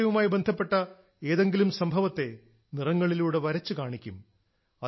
സ്വാതന്ത്ര്യവുമായി ബന്ധപ്പെട്ട ഏതെങ്കിലും സംഭവത്തെ നിറങ്ങളിലൂടെ വരച്ചു കാണിക്കും